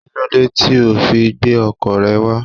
Kílódé tí o ò fi gbé ọkọ̀ rẹ wá?